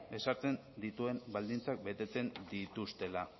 ezartzen dituen baldintzak betetzen dituztela